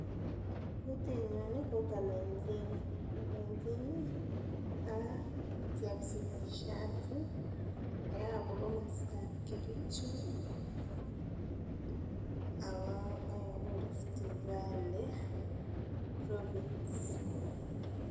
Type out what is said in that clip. Kutinyun ko kalenjin, kalenjin ih a chepsigisiat ih neyobu komostab Kericho ako ayobu Rift valley province.